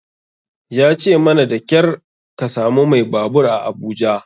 Ya ce mana da ƙyar ka samu mai babur a Abuja.